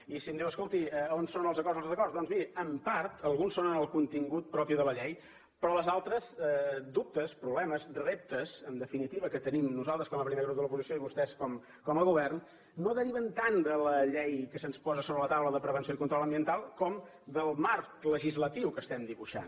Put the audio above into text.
i si em diu escolti on són els acords o els desacords doncs miri en part alguns són en el contingut propi de la llei però els altres dubtes problemes reptes en definitiva que tenim nosaltres com a primer grup de l’oposició i vostès com a govern no deriven tant de la llei que se’ns posa a sobre la taula de prevenció i control ambiental com del marc legislatiu que estem dibuixant